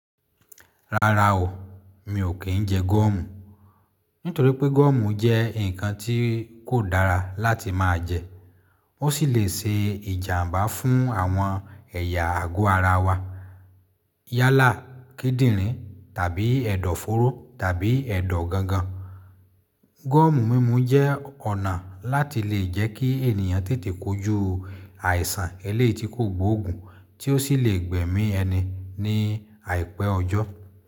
Rárá o, mi ò kí ń jẹ gọ́ọ̀mù. Nítorí pé gọ́ọ̀mù jẹ́ ǹkan tí kò dára láti máa jẹ, ó sì lè ṣe ìjàmbá fún àwọn ẹ̀yà àgọ́ ara wa. Yálà, kídìrín tàbí ẹ̀dọ̀ fóró tàbí ẹ̀dọ̀ gangan. Gọ́ọ̀mù mímu jẹ́ ọ̀nà láti lè jẹ́ kí ènìyàn tètè kó ju àìsàn eléetí kògbóògùn tí ó sì lè gbẹ̀mí ẹni ní àìpẹ́ ọjọ́.